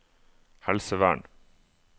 helsevern